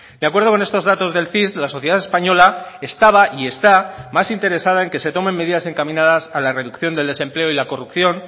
de acuerdo con estos datos del cis la sociedad española estaba y está más interesada en que se tomen medidas encaminadas a la reducción del desempleo y la corrupción